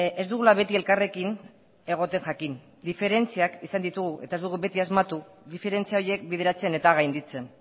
ez dugula beti elkarrekin egoten jakin diferentziak izan ditugu eta ez dugu beti asmatu diferentzia horiek bideratzen eta gainditzen